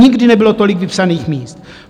Nikdy nebylo tolik vypsaných míst.